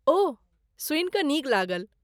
ओह, सुनि कऽ नीक लागल।